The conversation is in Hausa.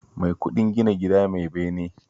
Mai kuɗin gina gida mai bene